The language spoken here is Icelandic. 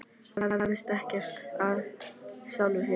Það hefst ekkert af sjálfu sér.